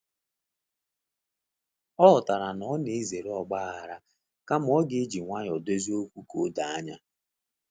Ọ ghọtara na ọ na ezere ọgbaaghara kama ọ ga eji nwayọ dozie okwu ka o doo anya